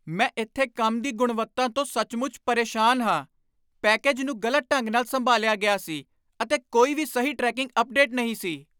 ਮੈਂ ਇੱਥੇ ਕੰਮ ਦੀ ਗੁਣਵੱਤਾ ਤੋਂ ਸੱਚਮੁੱਚ ਪਰੇਸ਼ਾਨ ਹਾਂ। ਪੈਕੇਜ ਨੂੰ ਗ਼ਲਤ ਢੰਗ ਨਾਲ ਸੰਭਾਲਿਆ ਗਿਆ ਸੀ, ਅਤੇ ਕੋਈ ਵੀ ਸਹੀ ਟਰੈਕਿੰਗ ਅਪਡੇਟ ਨਹੀਂ ਸੀ!